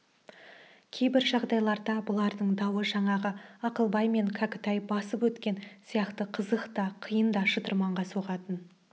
кейбір жағдайларда бұлардың дауы жаңағы ақылбай мен кәкітай басып өткен сияқты қызық та қиын да шытырманға соғатын